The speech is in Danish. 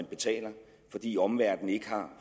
betaler fordi omverdenen ikke har